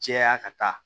Caya ka taa